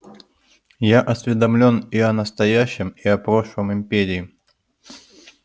я осведомлен и о настоящем и о прошлом империи